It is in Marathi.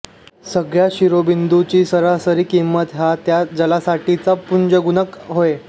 सगळ्या शिरोबिंदूंची सरासरी किंमत हा त्या जालासाठीचा पुंजगुणक होय